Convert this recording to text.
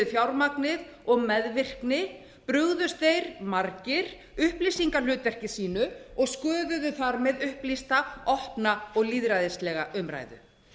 fjármagnið og meðvirkni brugðust þeir margir upplýsingahlutverki sínu og sköpuðu þar með upplýsta opna og lýðræðislega umræðu